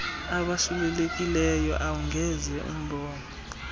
abasulelekileyo awungeze umbone